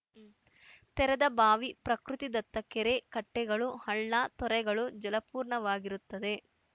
ತೆರೆದಬಾವಿ ಪ್ರಕೃತಿದತ್ತ ಕೆರೆ ಕಟ್ಟೆಗಳು ಹಳ್ಳ ತೊರೆಗಳು ಜಲಪೂರ್ಣ ಆಗಿರುತ್ತದೆ